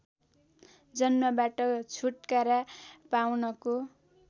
जन्मबाट छुटकारा पाउनको